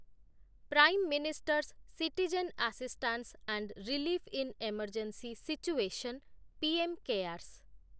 Prime ministers citizen assistance and relief in emergency situation, PM CARES